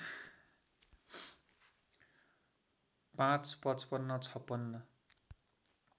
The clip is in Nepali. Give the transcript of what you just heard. ५ ५५ ५६